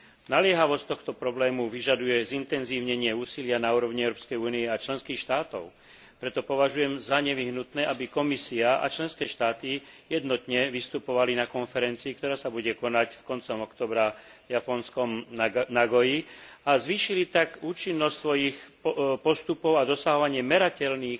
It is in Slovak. Naliehavosť tohto problému vyžaduje zintenzívnenie úsilia na úrovni Európskej únie a členských štátov, preto považujem za nevyhnutné, aby Komisia a členské štáty jednotne vystupovali na konferencii, ktorá sa bude konať koncom októbra v japonskom Nagoi, a zvýšili tak účinnosť svojich postupov a dosahovanie merateľných